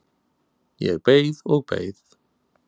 Ég beið og beið.